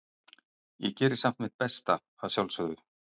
Ég geri samt mitt besta, að sjálfsögðu.